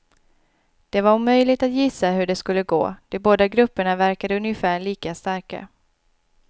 Det var omöjligt att gissa hur det skulle gå, de båda grupperna verkade ungefär lika starka.